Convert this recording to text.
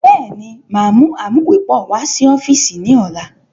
Bẹ́ẹ̀ni, máa mú amuwepọ̀ wá sí ọ́fíìsì ni ọ̀la.